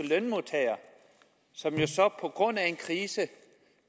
lønmodtagere som jo på grund af en krise